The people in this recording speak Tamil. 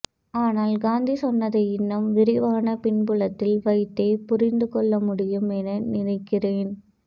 ஆனால் காந்தி சொன்னதை இன்னும் விரிவான பின்புலத்தில் வைத்தே புரிந்துகொள்ளமுடியும் என நினைக்கிறேன்